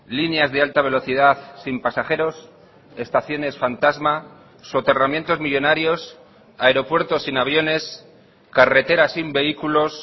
líneas de alta velocidad sin pasajeros estaciones fantasma soterramientos millónarios aeropuertos sin aviones carreteras sin vehículos